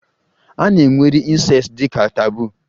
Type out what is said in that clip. A na-ewere Incest dị ka taboo